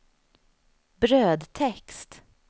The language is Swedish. brödtext